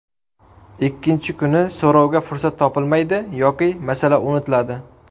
Ikkinchi kuni so‘rovga fursat topilmaydi yoki masala unutiladi.